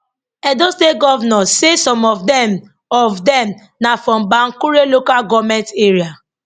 edo state govnor say some of dem of dem na from bankure local goment area